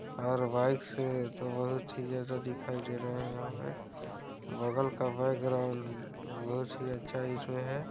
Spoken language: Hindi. और बाइक से तो बहुत ही ज्यादा दिखाई दे रहा है यहाँ पे बगल का बैकग्राउंड बहुत ही अच्छा इस में है।